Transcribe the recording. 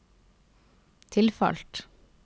tilfalt